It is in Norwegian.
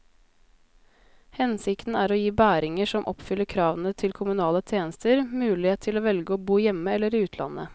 Hensikten er å gi bæringer som oppfyller kravene til kommunale tjenester, mulighet til å velge å bo hjemme eller i utlandet.